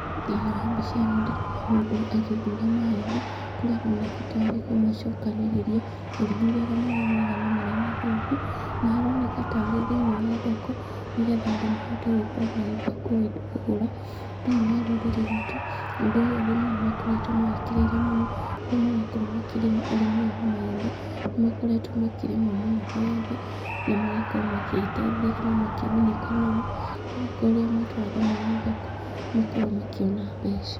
Thĩinĩ wa mbica ĩno ndĩrona mũndũ agĩthuura mahembe, kũrĩa aroneka tarĩ kũmacokanĩrĩria agĩthuraga marĩa mega na marĩa mathũku, na aroneka tarĩ thĩinĩ wa thoko, nĩgetha andũ mahote gũkorwo magĩũka kũgũra. Thĩinĩ wa rũrĩrĩ rwitũ, ũndũ ũyũ arĩmi nĩ makoretwo mawĩkĩrĩire mũno, kũrĩa marakorwo makĩrĩma ũrĩmi ũyũ wa maembe, nĩ makoretwo makĩrĩma mũno maembe, na magakorwo magĩĩteithia kana makĩgunĩka namo, nĩgũkorwo rĩrĩa matwara thĩinĩ wa thoko, nĩ makoragwo makĩona mbeca.